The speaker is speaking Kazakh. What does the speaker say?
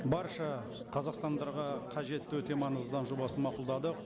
барша қазақстандарға қажетті өте маңызды заң жобасын мақұлдадық